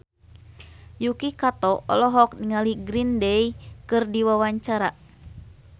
Yuki Kato olohok ningali Green Day keur diwawancara